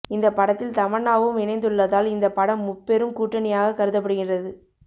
இந்த படத்தில் தமன்னாவும் இணைந்துள்ளதால் இந்த படம் முப்பெரும் கூட்டணியாக கருதப்படுகிறது